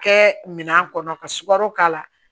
Kɛ minan kɔnɔ ka sukaro k'a la